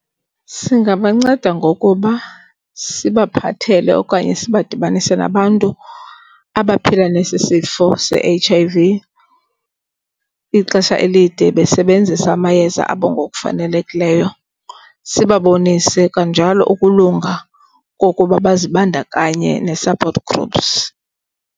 Singabanceda ngokuba sibaphathele okanye sibadibanise nabantu abaphila nesi sifo se-H_I_V ixesha elide besebenzisa amayeza abo ngokufanelekileyo. Sibabonise kanjalo ukulunga kokuba bazibandakanye ne-support groups.